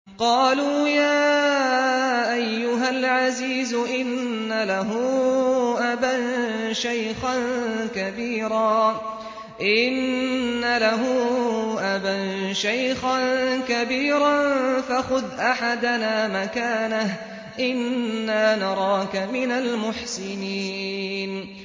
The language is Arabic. قَالُوا يَا أَيُّهَا الْعَزِيزُ إِنَّ لَهُ أَبًا شَيْخًا كَبِيرًا فَخُذْ أَحَدَنَا مَكَانَهُ ۖ إِنَّا نَرَاكَ مِنَ الْمُحْسِنِينَ